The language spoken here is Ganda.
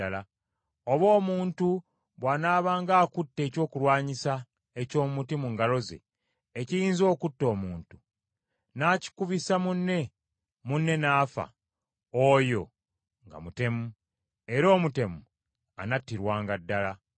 Oba omuntu bw’anaabanga akutte ekyokulwanyisa eky’omuti mu ngalo ze, ekiyinza okutta omuntu, n’akikubisa munne, munne n’afa, oyo nga mutemu; era omutemu anattirwanga ddala.